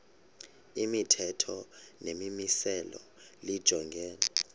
imithetho nemimiselo lijongene